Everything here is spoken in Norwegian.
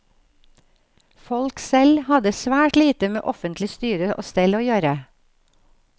Folket selv hadde svært lite med offentlig styre og stell å gjøre.